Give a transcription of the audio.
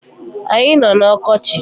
Anyi no n’ọkọchi